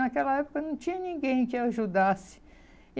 Naquela época não tinha ninguém que ajudasse.